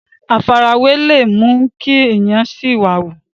àfarawé le mú kí èèyàn sìwàwù